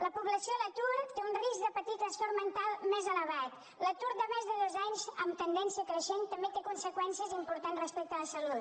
la població a l’atur té un risc de patir trastorn mental més elevat l’atur de més de dos anys amb tendència creixent també té conseqüències importants respecte a la salut